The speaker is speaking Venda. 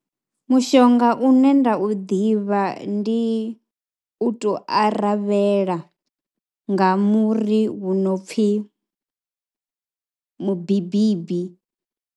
Mushonga une nda u ḓivha ndi u tou aravhela nga muri vhu no pfhi mubibibi.